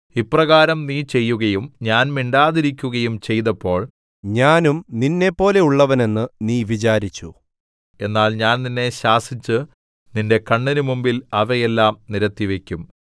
ഇപ്രകാരം നീ ചെയ്യുകയും ഞാൻ മിണ്ടാതിരിക്കുകയും ചെയ്തപ്പോൾ ഞാനും നിന്നെപ്പോലെയുള്ളവനെന്ന് നീ വിചാരിച്ചു എന്നാൽ ഞാൻ നിന്നെ ശാസിച്ച് നിന്റെ കണ്ണിന്റെ മുമ്പിൽ അവയെല്ലാം നിരത്തിവക്കും